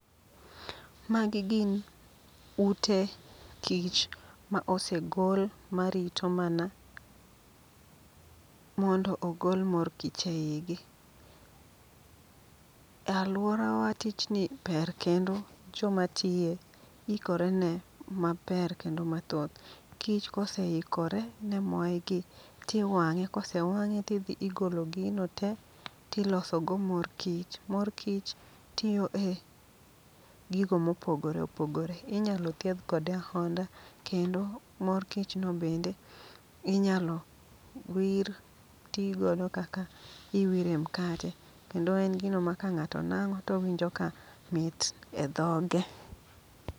Magi gin ute kich ma osegol marito mana mondo ogol mor kich e igi. Alworawa tichni ber kendo joma tiye ikore ne maber kendo mathoth. Kich koseikore ne moyegi tiwang'e, kose wang'e tidhi igolo gino te tilosogo mor kich. Mor kich tiyo e gigo mopogore opogore, inyalo thiedh kode ahonda, kendo mor kichno bende inyalo wir ti godo kaka iwire mkate. Kendo en gino maka ng'ato nang'o towinjo ka mit e dhoge.